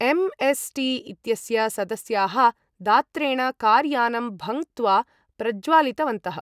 MST इत्यस्य सदस्याः दात्रेण कार् यानम् भङ्क्त्वा प्रज्वालितवन्तः ।